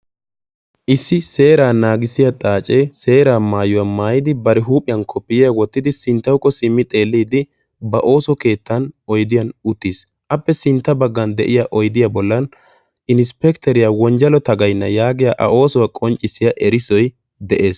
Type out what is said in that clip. Issi seeraa naagissiya xaacee seeraa maayuwa maayidi bari huuphiyan koppiyiya wottidi sinttawukko simmi xeelliiddi ba ooso keettan oydiyan uttiis. Appe sintta baggan de'ya oydiya bollan insppekiteriya wonjjalo tagayna yaagiya A oosuwa qonccissiya erissoy de'ees.